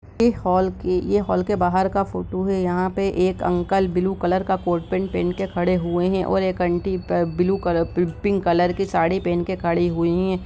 ये हॉल के ये होल के बाहर का फोटो है यहां पे एक अंकल ब्लू कलर का कोट पेन्ट पहन के खड़े हुए हैं और aunty blue colour pink colour की साड़ी पहन के खड़ी हुई है।